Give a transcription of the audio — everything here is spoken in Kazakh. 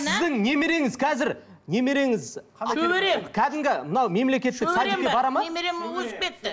сіздің немереңіз қазір немереңіз шөберем кәдімгі мынау мемлекеттік садикке бара ма немерем өсіп кетті